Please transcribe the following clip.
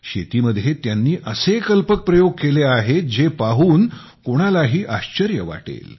शेतीमध्ये त्यांनीअसे कल्पक प्रयोग केले आहेत जे पाहून कोणालाही आश्चर्य वाटेल